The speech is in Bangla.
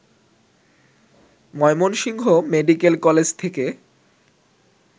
ময়মনসিংহ মেডিকেল কলেজ থেকে